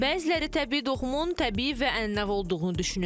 Bəziləri təbii doğuşun təbii və ənənəvi olduğunu düşünür.